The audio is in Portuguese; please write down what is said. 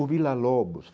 O Vila Lobos.